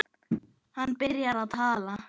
Hann byrjar að tala.